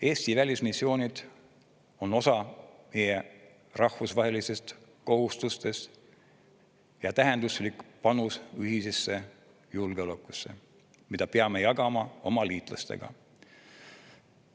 Eesti välismissioonid on osa meie rahvusvahelistest kohustustest ja tähenduslik panus ühisesse julgeolekusse, mida peame jagama oma liitlastega.